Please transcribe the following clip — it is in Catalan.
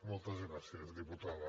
moltes gràcies diputada